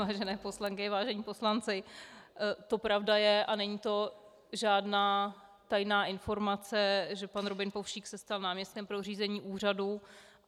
Vážené poslankyně, vážení poslanci, to pravda je a není to žádná tajná informace, že pan Robin Povšík se stal náměstkem pro řízení úřadu.